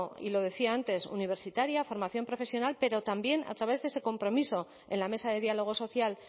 y lo decía antes universitaria formación profesional pero también a través de ese compromiso en la mesa de diálogo social